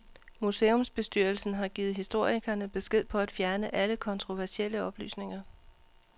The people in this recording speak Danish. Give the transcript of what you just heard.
Museumsbestyrelsen har givet historikerne besked på at fjerne alle kontroversielle oplysninger.